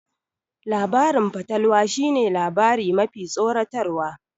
Labarin fatalwa shi ne labari mafi tsoratarwa